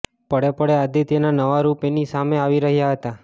પળે પળે આદિત્યના નવા રૂપ એની સામે આવી રહ્યાં હતા